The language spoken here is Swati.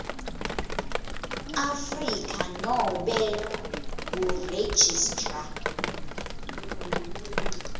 afrika nobe kuregistrar